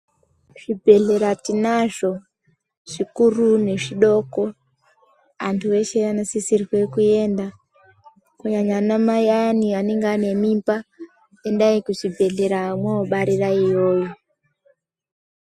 Zvibhedhlera tinazvo, zvikuru nezvidoko, antu eshe anosisirwe kuenda. Kunyanya ana mai ayani anenge ane mimba, endai kuzvibhedhlera mwobarira iyoyo.